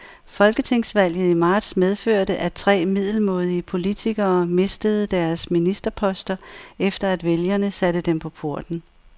Folketingsvalget i marts medførte, at tre middelmådige politikere mistede deres ministerposter, efter at vælgerne satte dem på porten.